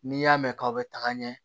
N'i y'a mɛn k'aw bɛ taga ɲɛ